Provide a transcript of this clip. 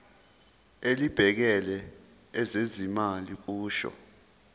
elibhekele ezezimali kusho